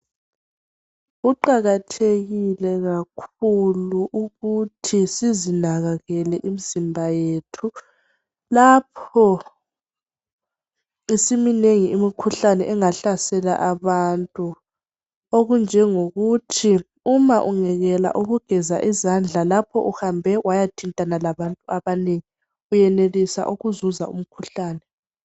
Kuqakathekile kakhulu ukuthi sizinakekele imizimba yethu lapho isiminengi imikhuhlane engahlasela abantu okunjengokuthi uma ungekela ukugeza izandla lapho uhambe wayathintana labantu abanengi uyenelisa ukuzuza umkhuhlane.